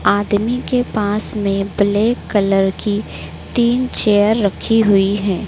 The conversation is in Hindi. आदमी के पास में ब्लैक कलर की तीन चेयर रखी हुई है।